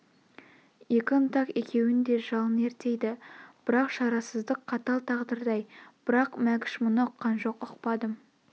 екі ынтық екеуін де жалын өртейді бірақ шарасыздық қатал тағдырдай бірақ мәкш бұны ұққан жоқ ұқпадым